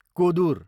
Kodur